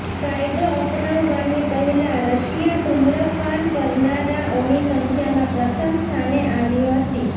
કાયદો અપનાવવાની પહેલાં રશિયા ધૂમ્રપાન કરનારાઓની સંખ્યામાં પ્રથમ સ્થાને આવી હતી